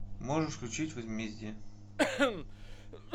можешь включить возмездие